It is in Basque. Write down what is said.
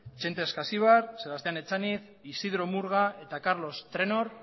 txente askasibar sebastián etxaniz isidro murga eta karlos trenor